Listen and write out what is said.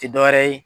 Tɛ dɔ wɛrɛ ye